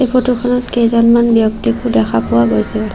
এই ফটো খনত কেইজনমান ব্যক্তিকো দেখা পোৱা গৈছে।